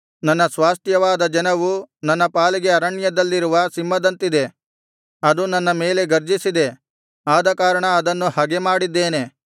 ನನ್ನ ಸ್ವಾಸ್ತ್ಯವಾದ ಜನವು ನನ್ನ ಪಾಲಿಗೆ ಅರಣ್ಯದಲ್ಲಿರುವ ಸಿಂಹದಂತಿದೆ ಅದು ನನ್ನ ಮೇಲೆ ಗರ್ಜಿಸಿದೆ ಆದಕಾರಣ ಅದನ್ನು ಹಗೆಮಾಡಿದ್ದೇನೆ